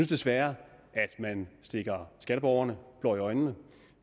desværre at man stikker skatteborgerne blår i øjnene